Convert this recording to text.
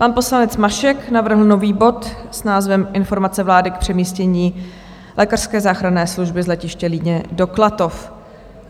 Pan poslanec Mašek navrhl nový bod s názvem Informace vlády k přemístění lékařské záchranné služby z letiště Líně do Klatov.